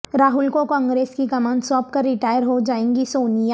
راہل کو کانگریس کی کمان سونپ کر ریٹائر ہوجائیںگی سونیا